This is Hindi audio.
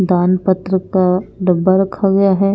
दान पत्र का डब्बा रखा गया है।